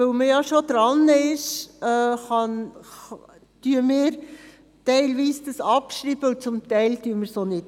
Weil man bereits daran ist, schreibt ein Teil von uns diesen ab, ein Teil auch nicht.